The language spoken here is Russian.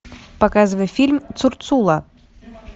показывай фильм цурцула